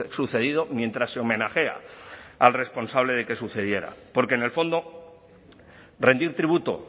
sucedido mientras se homenajea al responsable de que sucediera porque en el fondo rendir tributo